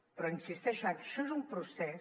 però hi insisteixo això és un procés